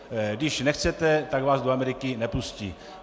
Když nechcete, tak vás do Ameriky nepustí.